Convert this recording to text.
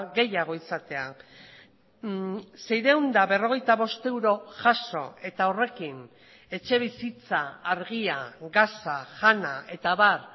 gehiago izatea seiehun eta berrogeita bost euro jaso eta horrekin etxebizitza argia gasa jana eta abar